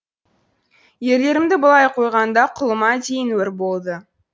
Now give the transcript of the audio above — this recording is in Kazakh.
ерлерімді былай қойғанда құлыма дейін өр болды